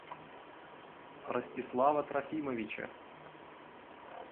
ростислава трофимовича